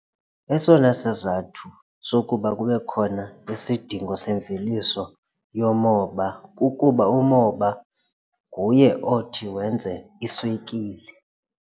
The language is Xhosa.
Esona sizathu sokuba kube khona isidingo semveliso yomoba kukuba umoba nguye othi wenze iswekile.